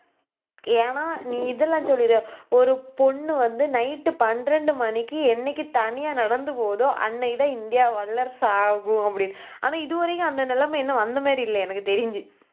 ஏன்னா, நீ இதெல்லாம் சொல்லிடு. ஒரு பொண்ணு வந்து, night பன்னிரண்டு மணிக்கு என்னைக்கு தனியா நடந்து போகுதோ அன்னைக்குதான் இந்தியா வல்லரசு ஆகும் அப்படின்னு. ஆனா இது வரைக்கும் அந்த நிலைமை இன்னும் வந்த மாதிரி இல்லை எனக்கு தெரிஞ்சு